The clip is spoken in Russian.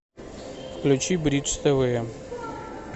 включи бридж тв